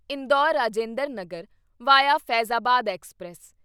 Indore Rajinder Nagar via Faizabad express